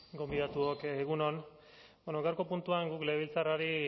gonbidatuok egun on gaurko puntuan legebiltzarrari